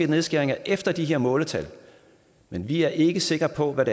nedskæringer efter de her måletal men vi er ikke sikre på hvad